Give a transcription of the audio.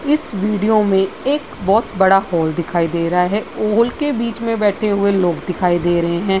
इस वीडियो में एक बहुत बड़ा हॉल दिखाई दे रहा है। हॉल के बीच में बैठे हुए लोग दिखाई दे रहें हैं।